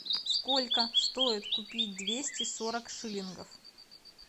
сколько стоит купить двести сорок шиллингов